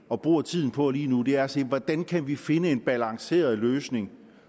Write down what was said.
og bruger tiden på lige nu er at se hvordan kan vi finde en balanceret løsning